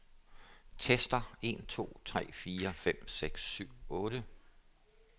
Tester en to tre fire fem seks syv otte.